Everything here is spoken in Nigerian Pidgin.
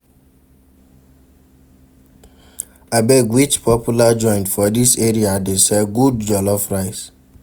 Abeg which popular joint for dis area dey sell good jollof rice?